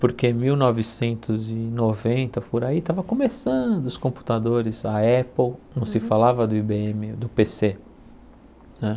Porque em mil novecentos e noventa, por aí, estavam começando os computadores, a Apple, não se falava do I Bê êMe, do Pê Cê né.